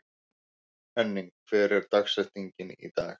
Henning, hver er dagsetningin í dag?